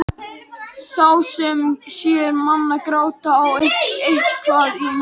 Sá sem sér mann gráta á eitthvað í manni.